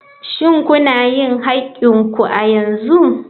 Shin kuna yin haƙƙin ku a yanzu?